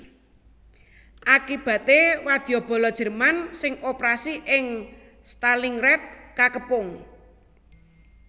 Akibaté wadyabala Jerman sing operasi ing Stalingrad kakepung